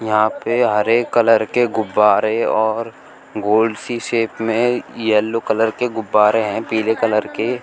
यहां पे हरे कलर के गुब्बारे और गोल सी शेप में येलो कलर के गुब्बारे हैं पीले कलर के--